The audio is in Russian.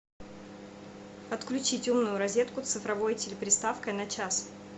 отключить умную розетку с цифровой телеприставкой на час